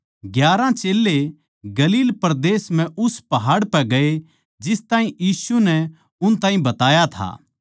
ग्यारहां चेल्लें गलील परदेस म्ह उस पहाड़ पै गये जिस ताहीं यीशु नै उन ताहीं बताया था